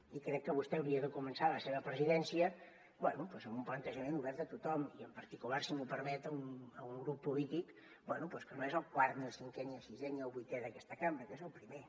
i crec que vostè hauria de començar la seva presidència bé doncs amb un plantejament obert a tothom i en particular si m’ho permet a un grup polític bé que no és el quart ni el cinquè ni el sisè ni el vuitè d’aquesta cambra que és el primer